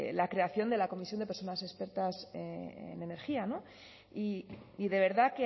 la creación de la comisión de personas expertas en energía y de verdad